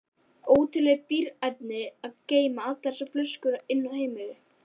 Ótrúleg bíræfni að geyma allar þessar flöskur inni á heimilinu.